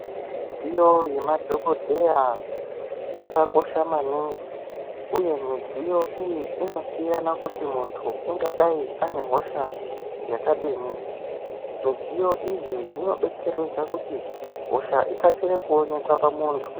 Midziyo yemadhokodheya yakakosha maningi uye midziyo iyi inosiyana kuti muntu angadai ane hosha yakadini midziyo idzi dzinodetseredza kuti hosha dzikasire kuonekwa pamuntu.